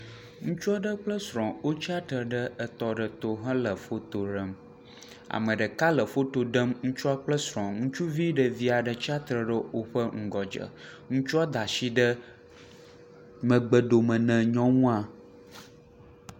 Ŋutsua aɖe kple srɔ̃ wotsi tsitre ɖe etɔ aɖe to hele foto ɖem. Ame ɖeka le foto ɖem ŋutsua kple srɔ̃. Ŋutsuvi ɖevi aɖe tsi atsitre ɖe woƒe ŋgɔdze. Ŋutsua da asi ɖe megbedome ne nyɔnua.